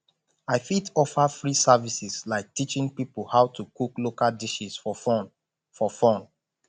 i fit offer free services like teaching people how to cook local dishes for fun for fun